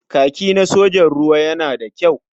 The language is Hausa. Kaki na sojan ruwa yana da kyau.